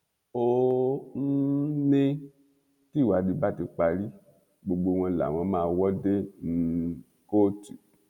ó um ní tìwádìí bá ti parí gbogbo wọn làwọn máa wò dé um kóòtù